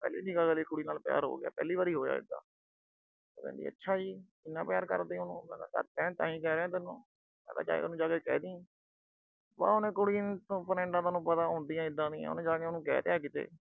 ਪਹਿਲੀ ਨਿਗਾਹ ਨਾਲ ਕੁੜੀ ਨਾਲ ਪਿਆਰ ਹੋ ਗਿਆ। ਪਹਿਲੀ ਵਾਰ ਹੋਇਆ ਇਦਾ। ਕਹਿੰਦੀ ਅੱਛਾ ਜੀ। ਇੰਨਾ ਪਿਆਰ ਕਰਦੇ ਓ ਉਹਨੂੰ। ਮੈਂ ਕਿਹਾ ਕਰਦੇ ਆ, ਤਾਂ ਹੀ ਕਹਿ ਰਿਹਾ ਤੈਨੂੰ। ਮੈਂ ਕਿਹਾ ਉਹਨੂੰ ਜਾ ਕੇ ਕਹਿ ਦੀ। ਅਹ ਕੁੜੀ ਦੀਆਂ friends ਪਤਾ ਹੁੰਦੀਆਂ ਏਦਾ ਦੀਆਂ, ਉਹਨੇ ਉਹਨੂੰ ਜਾ ਕੇ ਕਹਿ ਤਿਆ ਕਿਤੇ।